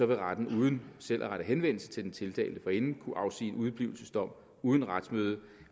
vil retten uden selv at rette henvendelse til den tiltalte forinden kunne afsige udeblivelsesdom uden retsmøde